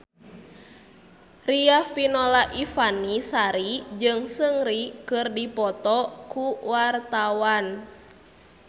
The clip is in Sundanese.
Riafinola Ifani Sari jeung Seungri keur dipoto ku wartawan